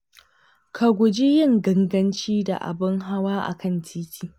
Ka guji yin ganganci da abun hawa a kan titi.